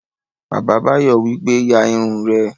Bàbá Báyọ̀ wípé, "ya irun rẹ!"